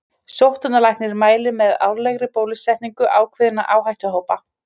Sóttvarnalæknir mælir með árlegri bólusetningu ákveðinna áhættuhópa.